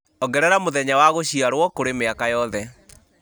ongerera mũthenya wa gũciarwo kũrĩ mĩaka yothe